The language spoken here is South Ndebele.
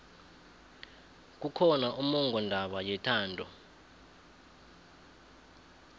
kukhona ummongondaba yethando